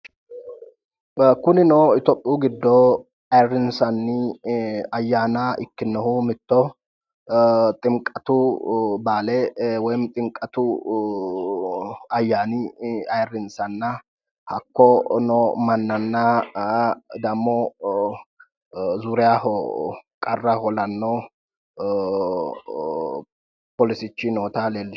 Kunino itiyophiyu giddo ayiirrinsanni ayyanna giddo mittoho ximiqatu ayyaana woy baale ayiirrinsanna hakko no mannanna zuuriyaho qarra hoolanno poolisichi noota leellishshano misileeti